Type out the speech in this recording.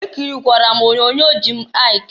Ekirikwara m onyoonyo Jim Aịk.